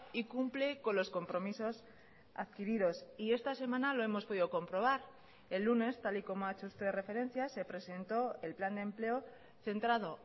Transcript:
y cumple con los compromisos adquiridos y esta semana lo hemos podido comprobar el lunes tal y como ha hecho usted referencia se presentó el plan de empleo centrado